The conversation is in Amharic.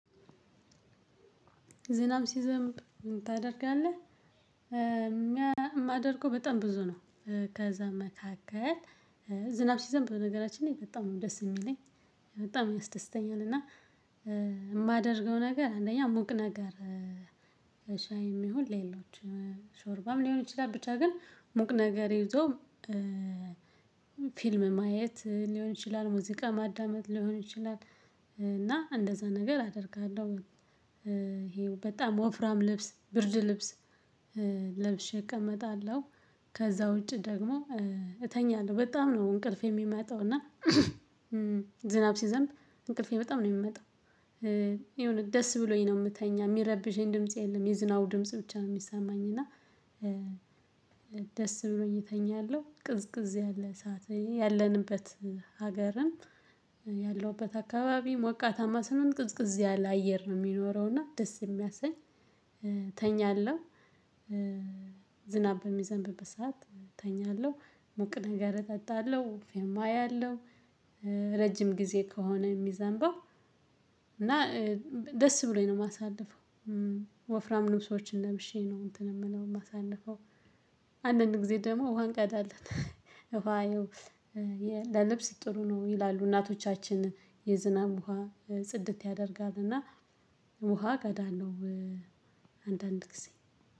ዝናብ ሲዘምብ ምን ታደርጋለህ? ሚያ የማደርገው በጣም ብዙ ነው። ከዛ መካከል ዝናብ ሲይዘምብ በነገራችን ላይ በጣም ነው ደስ የሚለኝ። በጣም ያስደስተኛል። እና የማደርገው ነገር አንደኛ ሙቅ ነገር እሽ ሻይ የሚሆን ሌሎች ሾርባም ሊሆን ይችላል ብቻ ግን ሙቅ ነገር ይዞ። ፊልም ማየት ሊሆን ይችላል ሙዚቃ ማዳመጥ ሊሆን ይችላል እና እንደዛ ነገር አደርጋለሁ። ይሄው በጣም ወፍራም ልብስ ብርድ ልብስ ለብሼ እቀመጣለሁ። ከዛ ውጪ ደግሞ እተኛለሁ በጣም ነው እንቅልፌ የሚመጣው። እና ዝናብ ሲዘንብ እንቅልፌ በጣም ነው የሚመጣው። የሆነ ደስ ብሎኝ ነው የምተኛ የሚረብሸኝ ድምጽ የለም የዝናቡ ድምጽ ብቻ ነው የሚሰማኝ። እና ደስ ብሎ እተኛለሁ። ቅዝቅዝ ያለ ሰዓት ላይ ያለንበት ሀገርም ያለውበት አካባቢ ሞቃታማ ስንሆን ቅዝቅዝ ያለ አየር ነው የሚኖረው እና ደስ የሚያሰኝ እተኛለሁ። ዝናብ በሚዘንብበት ሰዓት እተኛለሁ ሙቅ ነገር እጠጣለሁ ፊልም አያለሁ። ረጅም ጊዜ ከሆነ የሚዘንበው እና ደስ ብሎኝ ነው የማሳልፈው። ወፍራም ልብሶችን ለብሼ ነው እንትን የምለው የማሳልፈው። አንዳንድ ጊዜ ደግሞ ውሃ እንቀዳለን። ውሃ ያው የ ለልብስ ጥሩ ነው ይላሉ እናቶቻችን የዝናብ ውሃ ጽድት ያደርጋል። እና ውሃ እቀዳለሁ። አንዳንድ ጊዜ